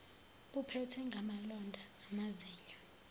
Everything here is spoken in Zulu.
uphethwe ngamalonda namazinyo